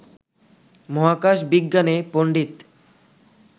মহাকাশ-বিজ্ঞানে পণ্ডিত